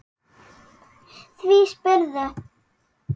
Því spyrðu?